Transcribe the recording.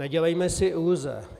Nedělejme si iluze.